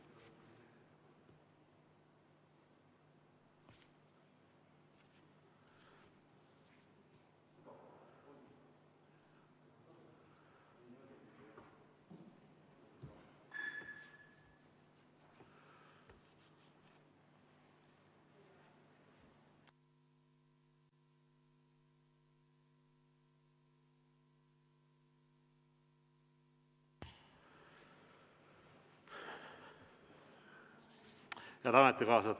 Head ametikaaslased!